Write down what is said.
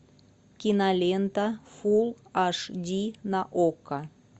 кинолента фулл аш ди на окко